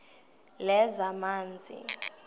lezamanzi